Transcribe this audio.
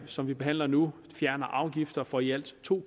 som vi behandler nu fjerner afgifter for i alt to